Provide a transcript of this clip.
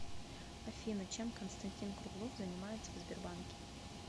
афина чем константин круглов занимается в сбербанке